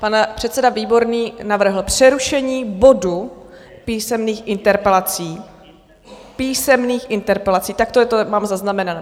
Pan předseda Výborný navrhl přerušení bodu písemných interpelací, písemných interpelací, takto to mám zaznamenané.